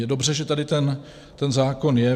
Je dobře, že tady ten zákon je.